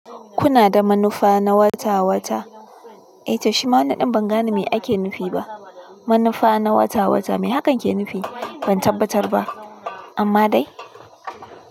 Kuna da manufa na wata-wata? Eh toshima, wannan ɗin ban gane me ake nufi ba. Manufa na wata-wata me hakan ke nufi? Ban tabbatar ba amma dai.